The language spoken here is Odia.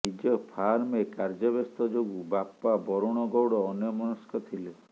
ନିଜ ଫାର୍ମରେ କାର୍ଯ୍ୟ ବ୍ୟସ୍ତ ଯୋଗୁଁ ବାପା ବରୁଣ ଗୌଡ଼ ଅନ୍ୟମନସ୍କ ଥିଲେ